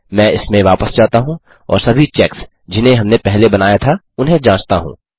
मैं इसमें वापस जाता हूँ और सभी चेक्स जिन्हें हमने पहले बनाया था उन्हें जाँचता हूँ